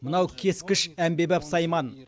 мынау кескіш әмбебап сайман